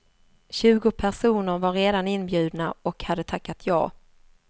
Tjugo personer var redan inbjudna och hade tackat jag.